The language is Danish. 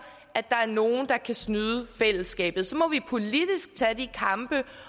at der er nogen der kan snyde fællesskabet så må vi politisk tage de kampe